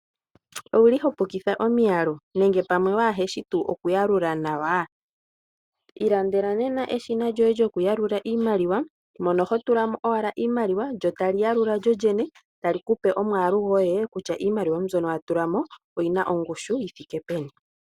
Owuli hopukitha omiyalu nenge pamwe waashi okuyalula nawa. Ilandela nena eshina lyoye lyoku yalula iimaliwa mono hotulamo owala iimaliwa lyotali yalula lyolyone ali kupe omwaalu goye kutya iimaliwa mbyono watulamo oyina ongushu yithike peni.